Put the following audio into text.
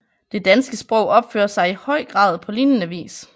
Det danske sig opfører sig i høj grad på lignende vis